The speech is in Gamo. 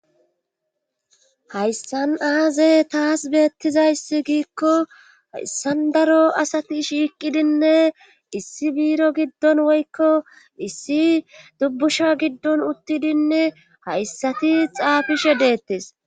hayssan aaze taas beettizayssi giikko hayssan daro asati shiiqidinne issi biiro giddon woykko issi dubbusha giddon uttidinne hayssati xaafishe deettes